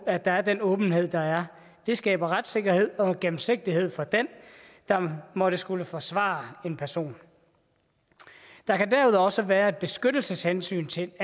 at der er den åbenhed der er det skaber retssikkerhed og gennemsigtighed for den der måtte skulle forsvare en person der kan derudover også være et beskyttelseshensyn til